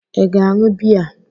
Ị ga-aṅụ bea?